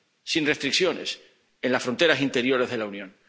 sin restricciones en las fronteras interiores de la Unión.